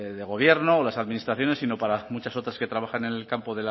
de gobierno o las administraciones sino para muchas otras que trabajan en el campo